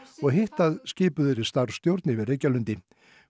og hitt að skipuð yrði starfsstjórn yfir Reykjalundi